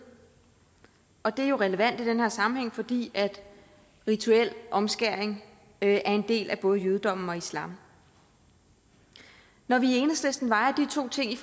og det er jo relevant i den her sammenhæng fordi rituel omskæring er en del af både jødedommen og islam når vi i enhedslisten vejer de to ting